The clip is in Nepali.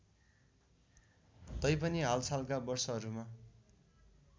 तैपनि हालसालका वर्षहरूमा